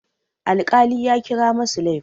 Alkali ya kira masu laifin.